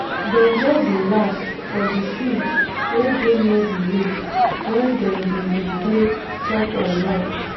dem just dey laugh for di field wey dey near di lake when dem been dey play tug or war